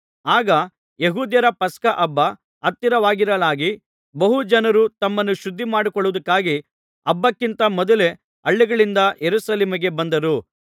ಆಗ ಯೆಹೂದ್ಯರ ಪಸ್ಕಹಬ್ಬ ಹತ್ತಿರವಾಗಿರಲಾಗಿ ಬಹು ಜನರು ತಮ್ಮನ್ನು ಶುದ್ಧ ಮಾಡಿಕೊಳ್ಳುವುದಕ್ಕಾಗಿ ಹಬ್ಬಕ್ಕಿಂತ ಮೊದಲೇ ಹಳ್ಳಿಗಳಿಂದ ಯೆರೂಸಲೇಮಿಗೆ ಬಂದರು